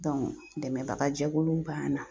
dɛmɛbaga jɛkulu banna